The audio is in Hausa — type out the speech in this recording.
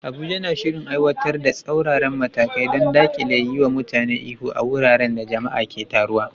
Abuja na shirin aiwatar da tsauraran matakai don dakile yiwa mutane ihu a wuraren da jama'a ke taruwa.